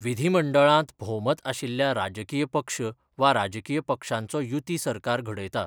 विधीमंडळांत भोवमत आशिल्ल्या राजकीय पक्ष वा राजकीय पक्षांचो युती सरकार घडयता.